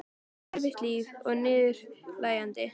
Þetta var erfitt líf og niðurlægjandi.